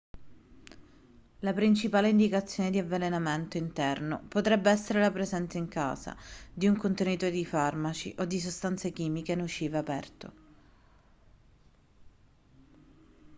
la principale indicazione di avvelenamento interno potrebbe essere la presenza in casa di un contenitore di farmaci o di sostanze chimiche nocive aperto